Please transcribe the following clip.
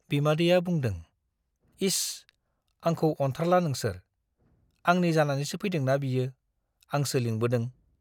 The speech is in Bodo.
बिमादैया बुंदों, इस, आंखौ अनथारला नोंसोर, आंनि जानानैसो फैदोंना बियो, आंसो लिंबोदों ।